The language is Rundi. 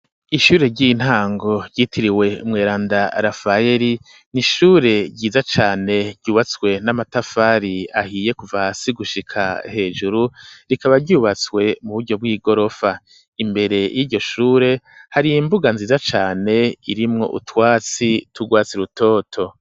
Ishure ry'intango ryitiriwe umweranda Rafayeri, ni ishure ryiza cane, ryubatswe n'amatafari ahiye kuva hasi gushika hejuru, rikaba ryubatswe mu buryo bw'igorofa; imbere y'iryo shure hari imbuga nziza cane, irimwo utwatsi tw’urwatsi rutoto.